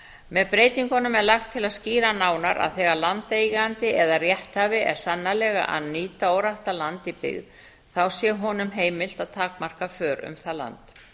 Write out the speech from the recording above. með breytingunum er lagt til að skýra nánar að þegar landeigandi eða rétthafi er sannarlega að nýta óræktað land í byggð þá sé honum heimilt að takmarka för um það land